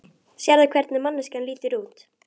Sérðu hvernig manneskjan lítur út?